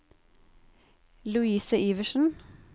Louise Iversen